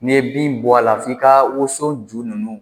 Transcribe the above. N'i ye bin bɔ a la f'i ka wosɔn ju ninnu